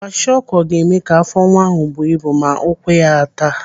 Kwashiọkọ ga-eme ka afọ nwa ahụ buo ibu ma ụkwụ ya a taa.